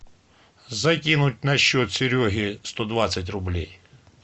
закинуть на счет сереге сто двадцать рублей